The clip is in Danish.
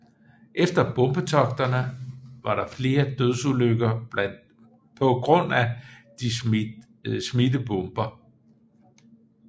Efter bombetogterne var der flere dødsulykker pga de smidte bomber